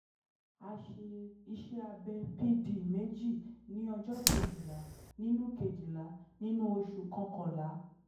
a ṣe iṣẹ́ abẹ pd méjì ní ọjọ́ kejìlá nínú kejìlá nínú oṣù kọkànlá